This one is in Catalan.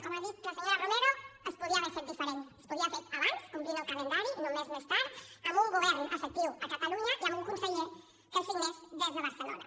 com ha dit la senyora romero es podia haver fet diferent es podia haver fet abans complint el calendari i no un mes més tard amb un govern efectiu a catalunya i amb un conseller que signés des de barcelona